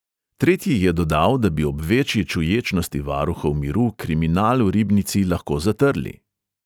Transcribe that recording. Tretji je dodal, da bi ob večji čuječnosti varuhov miru kriminal v ribnici lahko zatrli.